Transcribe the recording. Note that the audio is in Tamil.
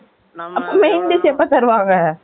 Main dish Eppo தருவாங்க